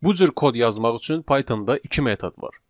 Bu cür kod yazmaq üçün Pythonda iki metod var.